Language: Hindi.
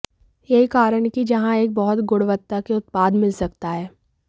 यही कारण है कि जहां एक बहुत गुणवत्ता के उत्पाद मिल सकता है